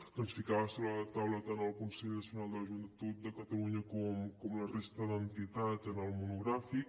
que ens els ficava sobre la taula tant el consell nacional de la joventut de catalunya com la resta d’entitats en el monogràfic